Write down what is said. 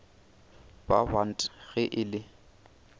ba bant ge e le